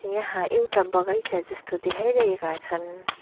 यहाँ एउटा बगैँचा जस्तो देखाइरहेका छन्।